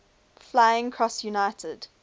flying cross united